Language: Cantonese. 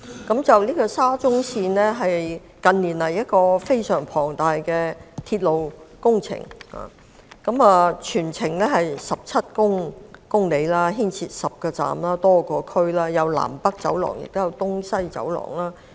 沙田至中環線是近年非常龐大的鐵路工程，全程長17公里，涉及10個車站和多個地區，既有南北走廊，亦有東西走廊。